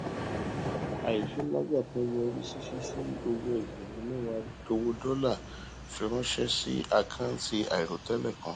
àṣìṣe nlá gbáà kan yọrí sí ṣíṣi owó ẹgbẹrún mẹwàá owó dọlà fi ránṣẹ sí àkántì àìròtẹlẹ kan